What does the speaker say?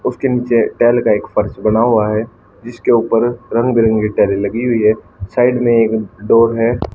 उसके नीचे टाइल का एक फर्श बना हुआ है जिसके ऊपर रंग बिरंगी टाइले लगी हुई है साइड में एक डोर है।